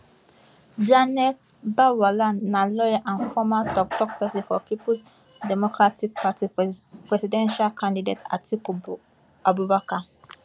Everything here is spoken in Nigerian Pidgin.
daniel bwala na lawyer and former toktok pesin of peoples democratic party pres presidential candidate atiku abubakar